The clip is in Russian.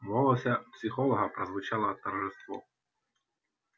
в голосе психолога прозвучало торжество